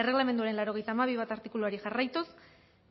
erregelamenduaren laurogeita hamabi puntu bat artikuluari jarraituz